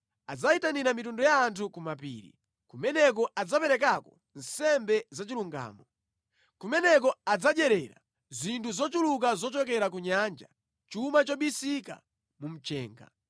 Adzayitanira mitundu ya anthu kumapiri, kumeneko adzaperekako nsembe zachilungamo; kumeneko adzadyerera zinthu zochuluka zochokera ku nyanja, chuma chobisika mu mchenga.”